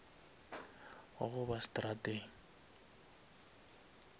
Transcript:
wa go ba seterateng